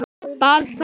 Bað þá